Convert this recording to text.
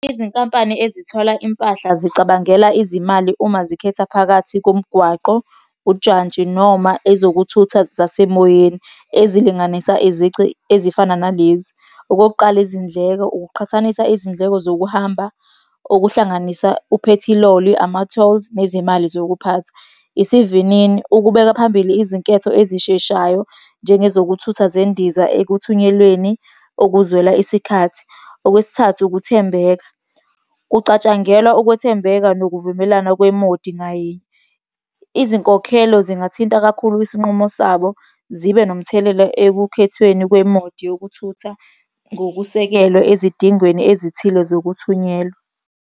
Izinkampani ezithola impahla zicabangele izimali uma zikhetha phakathi komgwaqo, ujantshi noma ezokuthutha zasemoyeni. Ezilinganisa izici ezifana nalezi, okokuqala, izindleko, ukuqhathanisa izindleko zokuhamba okuhlanganisa uphethiloli, ama-tolls nezimali zokuphatha. Isivinini, ukubeka phambili izinketho ezisheshayo, njengezokuthutha zendiza ekuthunyelweni ukuzwela isikhathi. Okwesithathu, ukuthembeka, kucatshangelwa ukwethembeka nokuvumelana kwemodi ngayinye. Izinkokhelo zingathinta kakhulu isinqumo sabo, zibe nomthelela ekukhethweni kwemodi yokuthutha ngokusekelwe ezidingweni ezithile zokuthunyelwa.